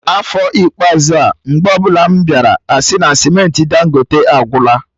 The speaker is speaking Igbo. N'afọ ikpeazụ a, mgbe ọbụla m bịara, asị na cementị Dangote agwụla